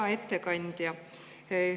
Hea ettekandja!